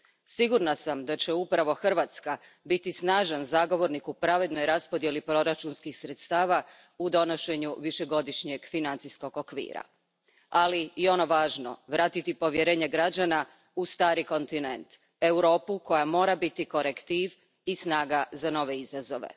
Sigurna sam da će upravo Hrvatska biti snažan zagovornik u pravednoj raspodjeli proračunskih sredstava u donošenju višegodišnjeg financijskog okvira, ali i ono važno, vratiti povjerenje građana u stari kontinent, Europu koja mora biti korektiv i snaga za nove izazove.